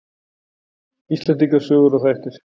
Íslendinga sögur og þættir.